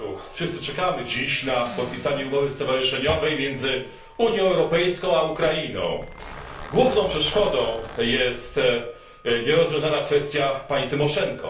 Wszyscy czekamy dziś na podpisanie umowy stowarzyszeniowej między Unią Europejską a Ukrainą. Główną przeszkodą jest nierozwiązana kwestia pani Tymoszenko.